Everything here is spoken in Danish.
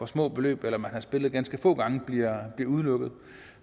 små beløb eller man har spillet ganske få gange bliver udelukket